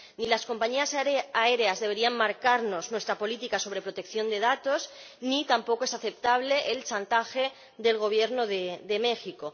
Ni las compañías aéreas deberían marcarnos nuestra política sobre protección de datos ni tampoco es aceptable el chantaje del Gobierno de México.